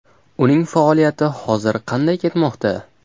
Uning faoliyati hozir qanday ketmoqda?